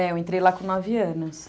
É, eu entrei lá com nove anos.